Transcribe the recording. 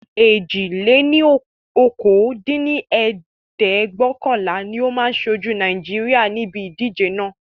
èjì-lé-ní-okòó dín ní ẹ̀ẹ́dẹ́gbẹ́ọ̀kànlá ni ó máa ṣojú Naijiria níbi ìdíje naa